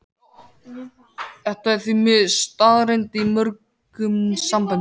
Þetta er því miður staðreynd í mörgum samböndum.